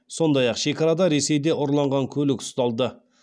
сондай ақ шекарада ресейде ұрланған көлік ұсталды